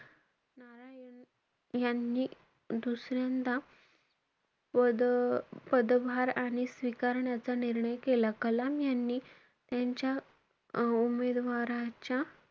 यांनी दुसऱ्यांदा पद~ पदभार आणि स्वीकारण्याचा निर्णय केला. कलाम यांनी त्यांच्या अं उमेदवाराच्या,